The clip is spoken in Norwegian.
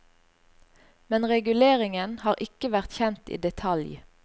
Men reguleringen har ikke vært kjent i detalj.